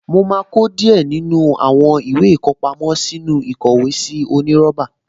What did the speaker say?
Mo máa kó díẹ̀ nínú àwọn ìwé ìkọpámọ́ sínú ìkówèésí onírọ́bà